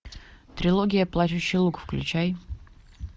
трилогия плачущий луг включай